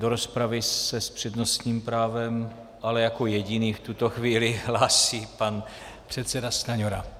Do rozpravy se s přednostním právem, ale jako jediný v tuto chvíli, hlásí pan předseda Stanjura.